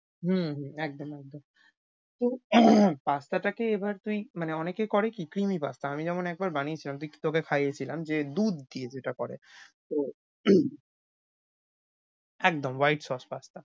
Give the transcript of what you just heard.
হম হম একদম একদম। তো pasta টাকে এবার তুই মানে অনেকে করে কি creamy pasta । আমি যেমন একবার বানিয়েছিলাম তুই~ তোকে খাইয়েছিলাম যে দুধ দিয়ে যেটা করে। তো একদম white sauce pasta